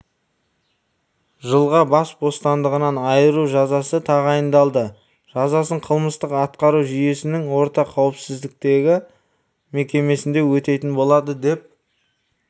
жылға бас бостандығынан айыру жазасы тағайындалды жазасын қылмыстық-атқару жүйесінің орта қауіпсіздіктегі мекемесінде өтейтін болады деп